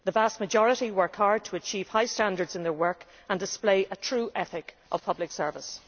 The vast majority work hard to achieve high standards in their work and display a true ethic of public service.